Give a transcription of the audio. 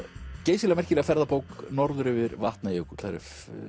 geysilega merkilega ferðabók Norður yfir Vatnajökul það er